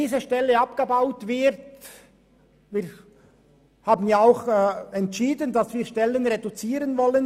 Wir haben auch entschieden, dass wir in der Zentralverwaltung Stellen reduzieren wollen.